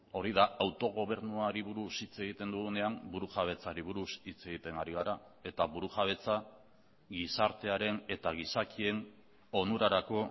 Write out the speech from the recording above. hori da autogobernuari buruz hitz egiten dugunean burujabetzari buruz hitz egiten ari gara eta burujabetza gizartearen eta gizakien onurarako